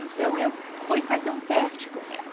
Então, eu fui fazer um teste com ela.